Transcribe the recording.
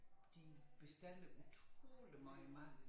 De bestiller utrolig meget mad